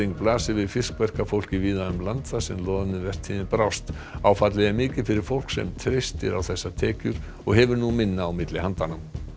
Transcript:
blasir við fiskverkafólki víða um land þar sem loðnuvertíðin brást áfallið er mikið fyrir fólk sem treystir á þessar tekjur og hefur nú minna á milli handanna